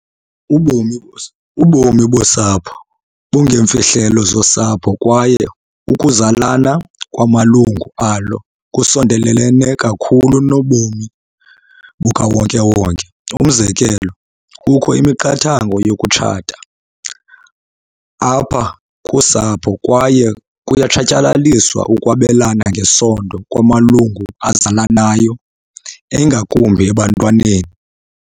Ubomi bosapho bungeemfihlelo zosapho kwaye ukuzalana kwamalungu alo kusondelelene kakhulu kunobomi bukawonke wonke. Umzekelo, kukho imiqathango yokutshata apha kusapho kwaye kuyatshatyalaliswa ukwabelana ngesondo kwamalungu azalanayo, eingakumbi ebantwaneni.